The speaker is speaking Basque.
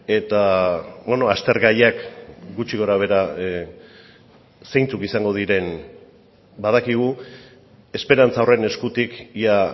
eta aztergaiak gutxi gorabehera zeintzuk izango diren badakigu esperantza horren eskutik ia